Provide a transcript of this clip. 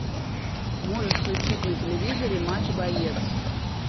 можешь включить на телевизоре матч боец